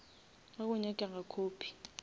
ge go nyakega copy